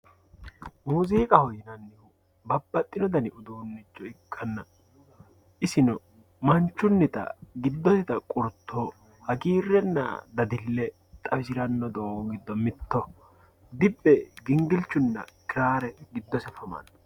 Muziiqaho yinannihu babbaxxino dani uduuncho ikkanna isino manchunitta giddotta qurto hagiirenna dadile xawisirano doogo giddo mitto dibbe dingilchunna kirare giddose afamano.